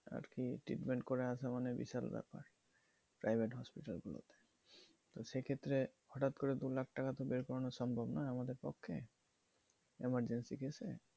treatment আসা বিশাল ব্যাপার private hospital থেকে সে ক্ষেত্রে হঠাৎ করে দু লাখ টাকা বের করানো সম্ভব না আমাদের পক্ষে ইমারজেন্সি কেসে